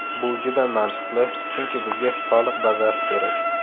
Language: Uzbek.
Bu juda mantiqli, chunki bizga soliq bazasi kerak.